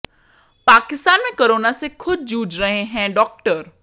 पाकिस्तान में कोरोना से खुद जूझ रहे हैं डॉक्टर